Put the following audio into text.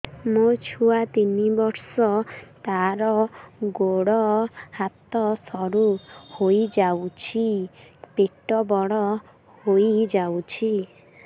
ମୋ ଛୁଆ ତିନି ବର୍ଷ ତାର ଗୋଡ ହାତ ସରୁ ହୋଇଯାଉଛି ପେଟ ବଡ ହୋଇ ଯାଉଛି